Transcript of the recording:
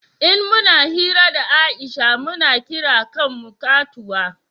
in muna hira da Aisha mu na kira kan mu katuwa